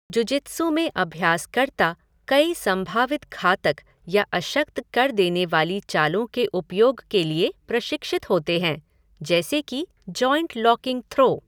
Jujitsu में अभ्यासकर्ता कई संभावित घातक या अशक्त कर देने वाली चालों के उपयोग के लिए प्रशिक्षित होते हैं, जैसे कि जॉइंट लॉकिंग थ्रो।